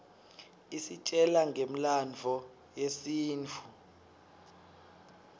isitjela ngemlandvo yesintfu